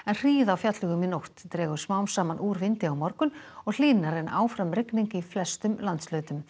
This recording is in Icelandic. hríð á fjallvegum í nótt dregur smám saman úr vindi á morgun og hlýnar en áfram rigning í flestum landshlutum